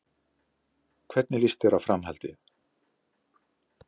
Hvernig líst þér á Framhaldið?